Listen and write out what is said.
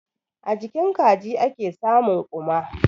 A jikin kaji ake samun ƙuma.